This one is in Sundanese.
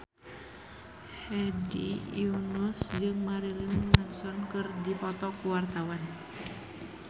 Hedi Yunus jeung Marilyn Manson keur dipoto ku wartawan